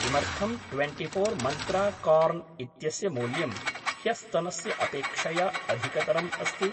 किमर्थं twenty four Mantra corn इत्यस्य मूल्यं ह्यस्तनस्य अपेक्षया अधिकतरम् अस्ति?